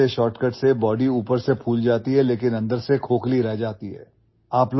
यार ऐसे ଶର୍ଟକଟ୍ से ବଡି ऊपर से फूल जाती हैलेकिन अंदर से खोखली रह जाती है